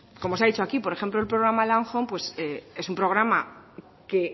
como se ha dicho aquí por ejemplo el programa landhome pues es un programa que